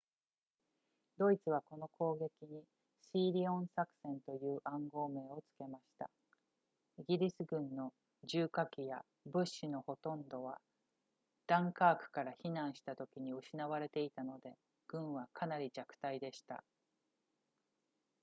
ドイツはこの攻撃にシーリオン作戦という暗号名を付けましたイギリス軍の重火器や物資のほとんどはダンカークから避難したときに失われていたので軍はかなり弱体でした